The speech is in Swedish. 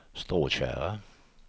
Stråtjära